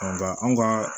Ɔ nka anw ka